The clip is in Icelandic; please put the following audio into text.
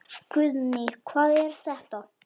Guðný: Hvað er þetta?